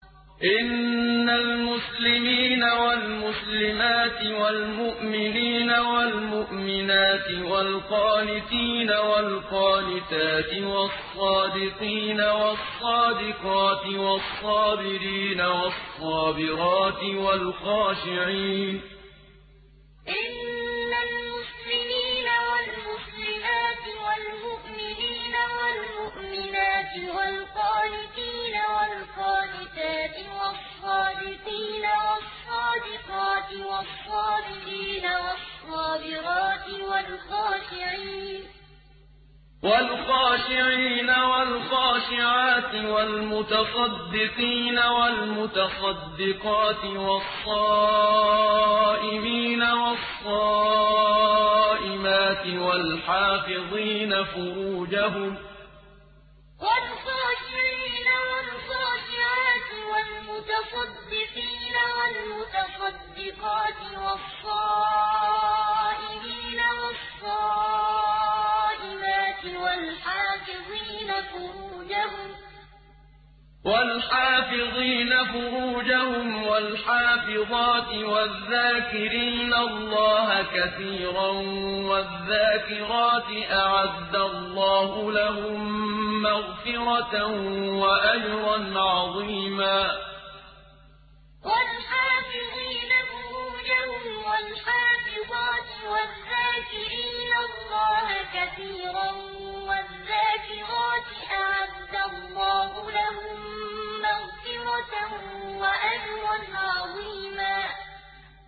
إِنَّ الْمُسْلِمِينَ وَالْمُسْلِمَاتِ وَالْمُؤْمِنِينَ وَالْمُؤْمِنَاتِ وَالْقَانِتِينَ وَالْقَانِتَاتِ وَالصَّادِقِينَ وَالصَّادِقَاتِ وَالصَّابِرِينَ وَالصَّابِرَاتِ وَالْخَاشِعِينَ وَالْخَاشِعَاتِ وَالْمُتَصَدِّقِينَ وَالْمُتَصَدِّقَاتِ وَالصَّائِمِينَ وَالصَّائِمَاتِ وَالْحَافِظِينَ فُرُوجَهُمْ وَالْحَافِظَاتِ وَالذَّاكِرِينَ اللَّهَ كَثِيرًا وَالذَّاكِرَاتِ أَعَدَّ اللَّهُ لَهُم مَّغْفِرَةً وَأَجْرًا عَظِيمًا إِنَّ الْمُسْلِمِينَ وَالْمُسْلِمَاتِ وَالْمُؤْمِنِينَ وَالْمُؤْمِنَاتِ وَالْقَانِتِينَ وَالْقَانِتَاتِ وَالصَّادِقِينَ وَالصَّادِقَاتِ وَالصَّابِرِينَ وَالصَّابِرَاتِ وَالْخَاشِعِينَ وَالْخَاشِعَاتِ وَالْمُتَصَدِّقِينَ وَالْمُتَصَدِّقَاتِ وَالصَّائِمِينَ وَالصَّائِمَاتِ وَالْحَافِظِينَ فُرُوجَهُمْ وَالْحَافِظَاتِ وَالذَّاكِرِينَ اللَّهَ كَثِيرًا وَالذَّاكِرَاتِ أَعَدَّ اللَّهُ لَهُم مَّغْفِرَةً وَأَجْرًا عَظِيمًا